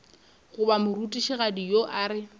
goba morutišigadi yo a re